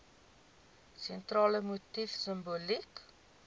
sentrale motief simboliek